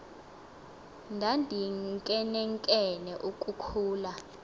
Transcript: ndandinkenenkene uku khula